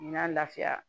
N'a lafiya